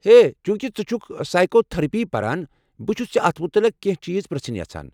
ہے، چونحکہِ ژٕ چھُكھ سایکو تھرپی پران، بہٕ چھُس ژےٚ اتھ متعلق کیٚنٛہہ چیز پرٛژُھن یژھان ۔